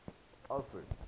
alfred